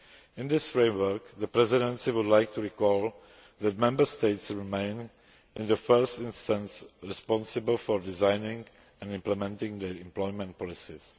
In this framework, the Presidency would like to recall that Member States remain, in the first instance, responsible for designing and implementing the employment policies.